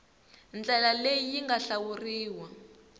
ndlela leyi yi nga hlawuriwa